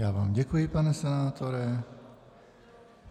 Já vám děkuji, pane senátore.